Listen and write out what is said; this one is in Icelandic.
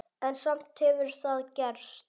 En samt hefur það gerst.